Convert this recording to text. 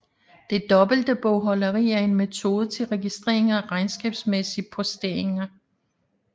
Det dobbelte bogholderi er en metode til registrering af regnskabsmæssige posteringer